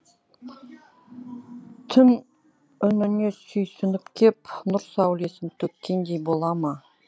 түн үніне сүйсініп кеп нұр сәулесін төккендей бола ма